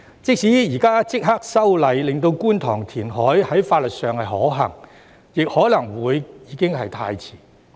即使現在立刻修例，令觀塘填海在法律上可行，亦可能已經太遲。